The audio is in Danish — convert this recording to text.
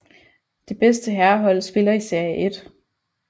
Det bedste herrehold spiller i serie 1